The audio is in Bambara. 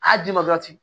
A d'i ma ten